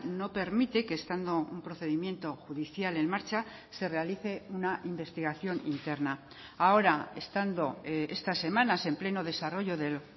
no permite que estando un procedimiento judicial en marcha se realice una investigación interna ahora estando estas semanas en pleno desarrollo del